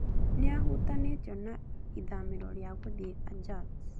Nĩahutanĩtio na ithamĩrio rĩa gũthiĩ ajax